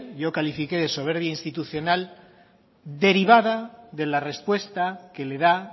yo califiqué de soberbia institucional derivada de la respuesta que le da